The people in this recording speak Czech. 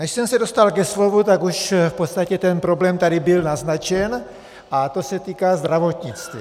Než jsem se dostal ke slovu, tak už v podstatě ten problém tady byl naznačen a týká se to zdravotnictví.